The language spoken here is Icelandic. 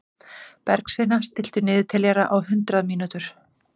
Bergsveina, stilltu niðurteljara á hundrað mínútur.